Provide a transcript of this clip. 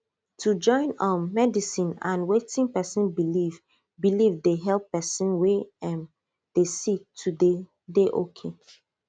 to join um medicine and wetin pesin believe believe dey help pesin wey um dey sick to dey dey okay